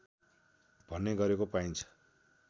भन्ने गरेको पाइन्छ